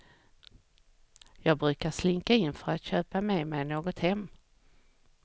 Jag brukar slinka in för att köpa med mig något hem.